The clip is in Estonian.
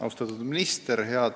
Austatud minister!